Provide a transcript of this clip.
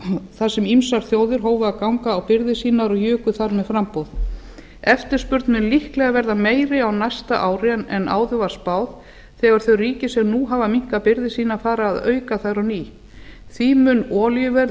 þar sem ýmsar þjóðir hófu að ganga á birgðir sínar og juku þar með framboð eftirspurn mun líklega verða meiri á næsta ári en áður var spáð þegar þau ríki sem nú hafa minnkað birgðir sínar fara að auka þær á ný því mun olíuverð